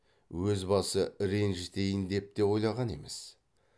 өз басы ренжітейін деп те ойлаған емес